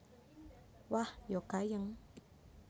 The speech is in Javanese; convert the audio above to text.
Wah ya gayeng